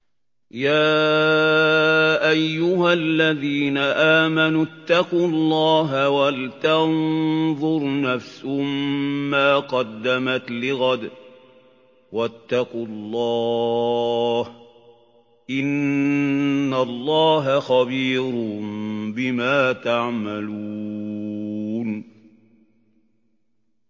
يَا أَيُّهَا الَّذِينَ آمَنُوا اتَّقُوا اللَّهَ وَلْتَنظُرْ نَفْسٌ مَّا قَدَّمَتْ لِغَدٍ ۖ وَاتَّقُوا اللَّهَ ۚ إِنَّ اللَّهَ خَبِيرٌ بِمَا تَعْمَلُونَ